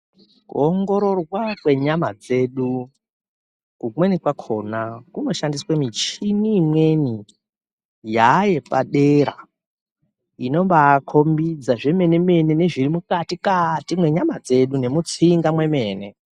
Kuongororwa kwenyama dzedu kumweni kwakona kunoshandiswa michini imweni yaapadera inombaikombidza zvemene mene zviri mukati mwenyama dzedu nemutsinga memwene.